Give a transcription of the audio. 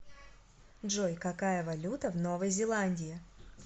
джой какая валюта в новой зеландии